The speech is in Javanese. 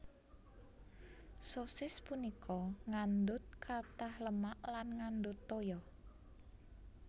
Sosis punika ngandut katah lemak lan ngandut toya